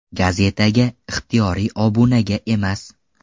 Gazetaga, ixtiyoriy obunaga emas.